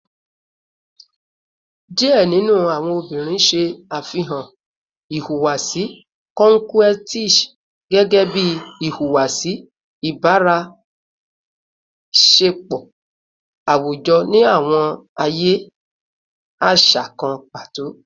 Diẹ ninu awọn obinrin ṣe afihan ihuwasi coquettish gẹgẹbi ihuwasi ibaraenisepo awujọ ni awọn aaye aṣa kan pato